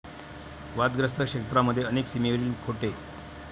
वादग्रस्त क्षेत्रामध्ये अनेक सीमेवरील खोटे.